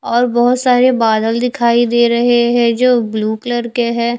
और बोहोत सारे बादल दिखाई दे रहे है जो ब्लू कलर के है।